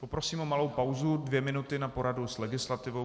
Poprosím o malou pauzu, dvě minuty, na poradu s legislativou.